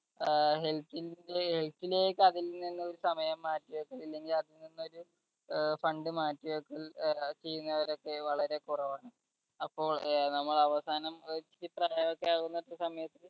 ഏർ health ന്റെ health ലേക്ക് അതിൽ നിന്നും ഒരു സമയമാറ്റം ഇല്ലെങ്കിൽ അതിൽ നിന്നൊരു ഏർ fund മാറ്റിവെക്കൽ ഏർ ചെയ്യുന്നവരൊക്കെ വളരെ കൊറവാണ് അപ്പോൾ ഏർ നമ്മൾ അവസാനം ആവുന്ന സമയത്ത്